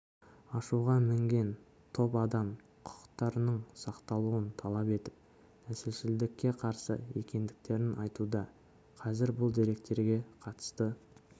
ашуға мінген топ адам құқықтарының сақталуын талап етіп нәсілшілдікке қарсы екендіктерін айтуда қазір бұл деректерге қатысты